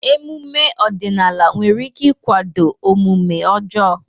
Ememe ọdịnala nwere ike ịkwado omume ọjọọ.